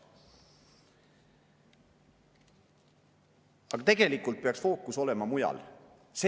Aga tegelikult peaks fookus olema mujal.